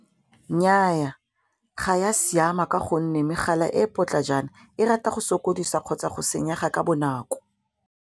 Nnyaa, ga ya siama ka gonne megala e e potlajana e rata go sokodisa kgotsa go senyega ka bonako.